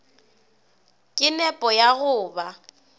ka nepo ya go ba